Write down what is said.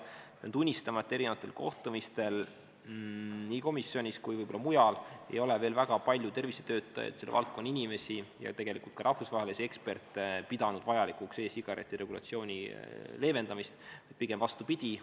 Pean tunnistama, et erinevatel kohtumistel nii komisjonis kui võib-olla ka mujal ei ole veel väga palju tervisetöötajaid, selle valdkonna inimesi ja tegelikult ka rahvusvahelisi eksperte pidanud vajalikuks e-sigareti regulatsiooni leevendamist, vaid pigem vastupidi.